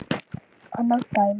Annað dæmi